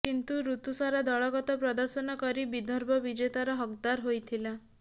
କିନ୍ତୁ ଋତୁସାରା ଦଳଗତ ପ୍ରଦର୍ଶନ କରି ବିଦର୍ଭ ବିଜେତାର ହକ୍ଦାର ହୋଇଥିଲା